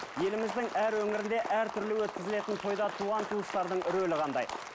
еліміздің әр өңірінде әртүрлі өткізілетін тойда туған туыстардың рөлі қандай